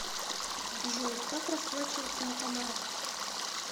джой как расплачиваться на канарах